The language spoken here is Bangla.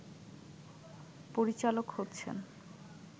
পরিচালক হচ্ছেন